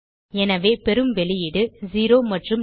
எனவே பெறும் வெளியீடு 0 மற்றும் நல்